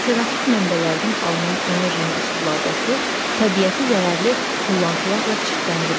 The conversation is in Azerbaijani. Alternativ mənbələrdən alınan enerjinin istifadəsi təbiəti zərərli tullantılarla çirkləndirmir.